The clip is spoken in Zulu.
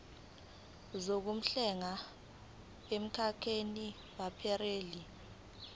zokuhlenga emkhakheni weprayimari